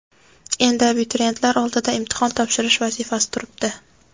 Endi abituriyentlar oldida imtihon topshirish vazifasi turibdi.